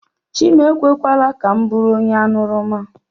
Chinekwe ekwela ka m bụrụ onye aṅụrụma